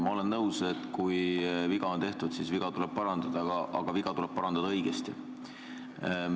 Ma olen nõus, et kui viga on tehtud, siis viga tuleb parandada, aga viga tuleb parandada õigesti.